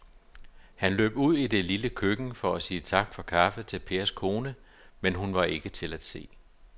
Han løb ud i det lille køkken for at sige tak for kaffe til Pers kone, men hun var ikke til at se.